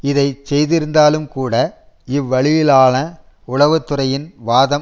இதை செய்திருந்தாலும் கூட இவ்வழியிலான உளவு துறையின் வாதம்